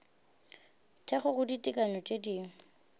thekgo go ditekanyo tše dingwe